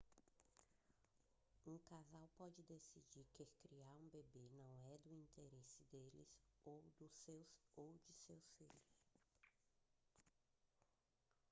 um casal pode decidir que criar um bebê não é do interesse deles ou do de seu filho